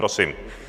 Prosím.